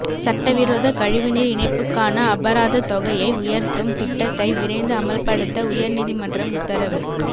சட்டவிரோத கழிவுநீர் இணைப்புக்கான அபராதத் தொகையை உயர்த்தும் திட்டத்தை விரைந்து அமல்படுத்த உயர் நீதிமன்றம் உத்தரவு